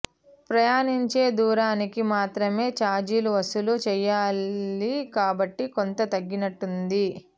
ప్రయాణించే దూరానికి మాత్రమే ఛార్జీలు వసూలు చేయాలి కాబట్టి కొంత తగ్గినట్టయింది